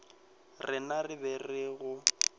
rena re be re go